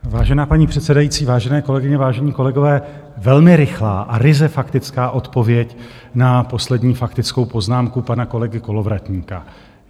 Vážená paní předsedající, vážené kolegyně, vážení kolegové, velmi rychlá a ryze faktická odpověď na poslední faktickou poznámku pana kolegy Kolovratníka.